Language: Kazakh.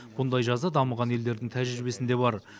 мұндай жаза дамыған елдердің тәжірибесінде бар